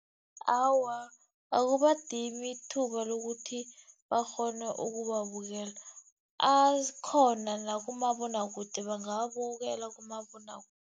Awa, akubadimi ithuba lokuthi bakghone ukuwabukela, akhona nakumabonwakude bangawabukela